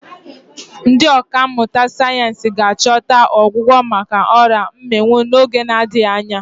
Ndị ọkà mmụta sayensị ga-achọta ọgwụgwọ maka ọrịa mmịnwụ n'oge na-adịghị anya.